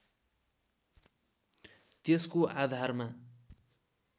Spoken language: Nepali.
त्यसको आधारमा